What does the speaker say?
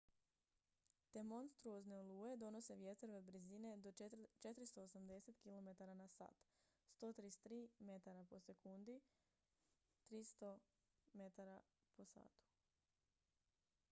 te monstruozne oluje donose vjetrove brzine do 480 km/h 133 m/s; 300 mph